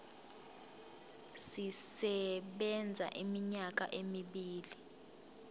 sisebenza iminyaka emibili